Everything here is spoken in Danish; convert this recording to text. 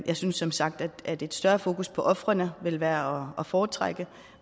jeg synes som sagt at et større fokus på ofrene vil være at foretrække